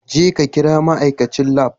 Jeka kira ma'aikacin lab.